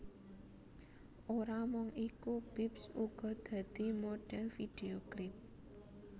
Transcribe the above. Ora mung iku Bips uga dadi modhèl vidhéo klip